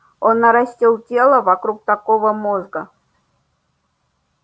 он нарастил тело вокруг такого мозга